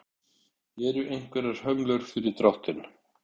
Eru einhverjar hömlur fyrir dráttinn?